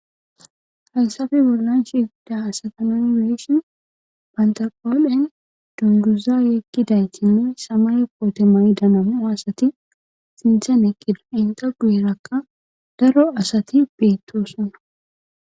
Haysafi bollan shida asatanameshin bantaqhoolen dunduza yekkiday kinne samay poote may danamo asati xintzen eqqida inta guerakka daro asati beetto sona